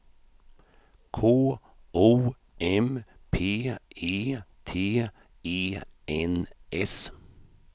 K O M P E T E N S